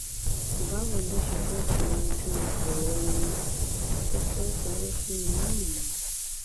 báwo ló ṣe fẹ́ fi yanjú ọrọ wọn kó kó owó fún wọn náà ni